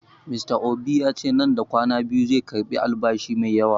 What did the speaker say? Mr obi yace nan da kwana biyu zai girɓe albasa mai yawa